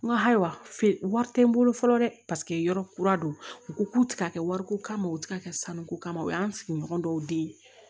N ko ayiwa feere wari tɛ n bolo fɔlɔ dɛ paseke yɔrɔ kura don u ko k'u tɛ ka kɛ wariko kama u tɛ ka kɛ sanuko kama o y'an sigiɲɔgɔn dɔw de ye